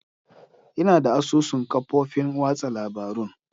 Ina da asusun kafofin watsa labarun.